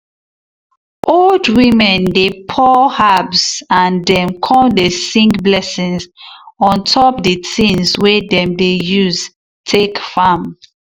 old women dey pour herbs and dem come dey sing blessings on top the things way dem dey use take farm.